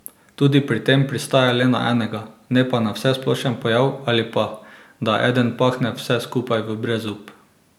Tudi pri tem pristajam le na enega, ne pa na vsesplošen pojav ali pa da eden pahne vse skupaj v brezup.